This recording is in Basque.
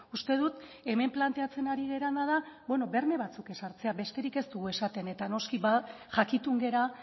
uste dut hemen planteatzen ari garena da berme batzuk ezartzea besterik ez dugu esaten eta noski jakitun gara